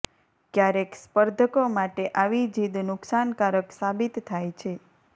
ક્યારેક સ્પર્ધકો માટે આવી જીદ નુકશાનકારક સાબિત થાય છે